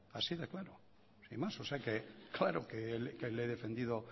así de claro sin más o sea que claro que le he defendido